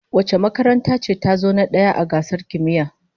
Wace makaranta ce tazo na daya a gasar kimiyya?